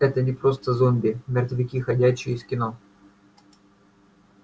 это не просто зомби мертвяки ходячие из кино